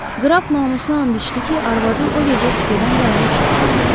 Qraf namusuna and içdi ki, arvadı o gecə kupedən bayıra çıxmayıb.